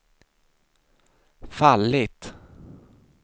fallit